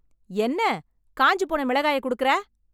என்ன காய்ஞ்சு போன மிளகாய குடுக்கற ?